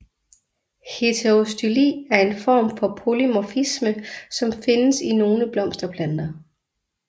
Heterostyli er en form for polymorfisme som findes i nogle blomsterplanter